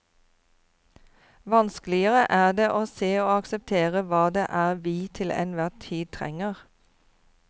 Vanskeligere er det å se og akseptere hva det er vi til enhver tid trenger.